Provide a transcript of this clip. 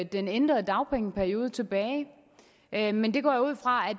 den ændrede dagpengeperiode tilbage men men det går jeg ud fra